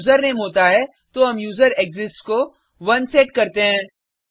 अगर यूजरनेम होता है तो हम यूजरेक्सिस्ट्स को 1 सेट करते हैं